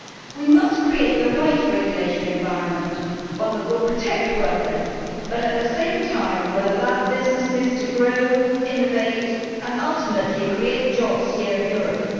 We must create the right regulatory environment, one that will protect workers but at the same time will allow businesses to grow, innovate and ultimately create jobs here in Europe.